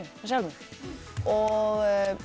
með Selmu og